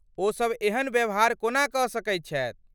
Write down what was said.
ओसब एहन व्यवहार कोना कऽ सकैत छथि?